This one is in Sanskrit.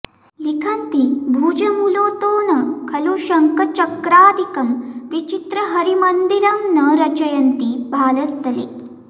लिखन्ति भुजमूलतो न खलु शङ्खचक्रादिकं विचित्रहरिमन्दिरं न रचयन्ति भालस्थले